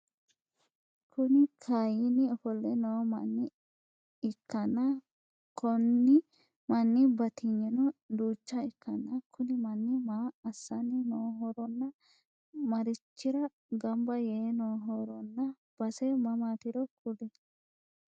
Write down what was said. Kuni kaayiini ofolle noo manna ikkana Konni manni batinyino duuchcha ikkana Kuni manni maa assanni nohoronna maricchira gambba yee nohoronna base mamaatiro kuli?